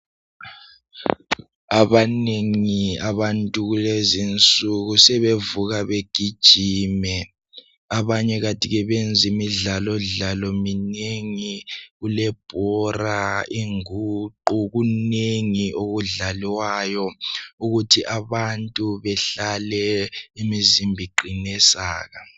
abanengi abantu kulezinsuku sebevuka begijima abanye kanti ke benza imidlalo imidlalo minengi kulebhora inguqu kunengi okudlalwayo ukuthi abantu behlale imizimba iqine saka